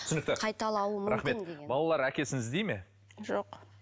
түсінікті қайталуы рахмет балалар әкесін іздей ме жоқ